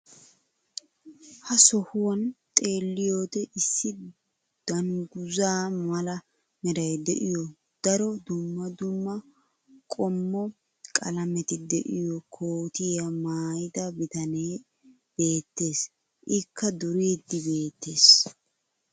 ha sohuwan xeelliyoode issi dangguza mala meray de'iyo daro dumma dumma qommo qalametti diyo kootiya maayida bitanee beetees. ikka duriidi beetees.